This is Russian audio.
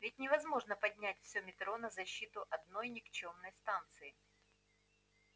ведь невозможно поднять все метро на защиту одной никчёмной станции